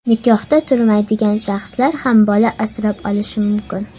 Nikohda turmaydigan shaxslar ham bola asrab olishi mumkin.